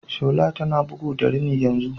Shola tana bugu da rini yanzu.